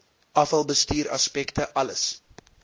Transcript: afvalbestuur aspekte alles